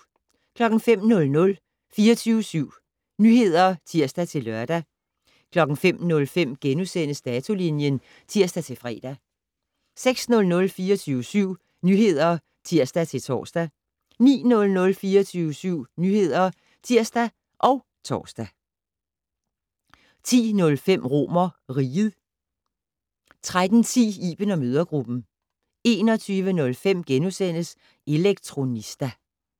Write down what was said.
05:00: 24syv Nyheder (tir-lør) 05:05: Datolinjen *(tir-fre) 06:00: 24syv Nyheder (tir-tor) 09:00: 24syv Nyheder (tir og tor) 10:05: RomerRiget 13:10: Iben & mødregruppen 21:05: Elektronista *